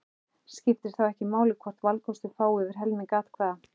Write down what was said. Skiptir þá ekki máli hvort valkostur fái yfir helming atkvæða.